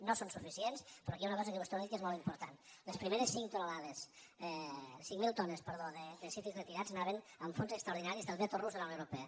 no són suficients però aquí hi ha una cosa que vostè no ha dit que és molt important les primeres cinc mil tones de cítrics retirats anaven amb fons extraordinaris del veto rus de la unió europea